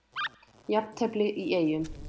Jafntefli í Eyjum